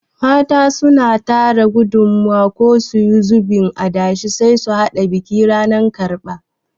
Mata suna tara gudumawa ko suyi zubin adashe sai su haɗa biki ranan karɓa